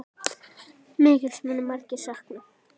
Mikils munu margir sakna.